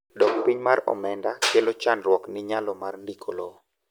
dok piny mar omenda kelo chandruok ni nyalo mar ndiko lowo